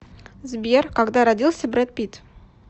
сбер когда родился брэд питт